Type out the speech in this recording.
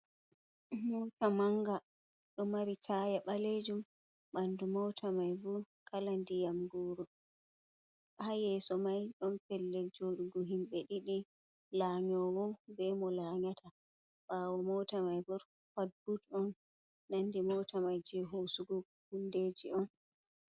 Moota manga ɗo mari taaya ɓaleejum, ɓanndu moota mai boo kala ndiyam gooro, haa yeeso mai ɗon pellel jooɗugo, himɓe ɗiɗi lanyoowo bee mo laanyata, ɓaawo moota mai bto fat but on nandi moota mai jey hoosugo huundeeji on.